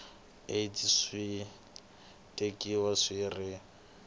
aids swi tekiwa swi ri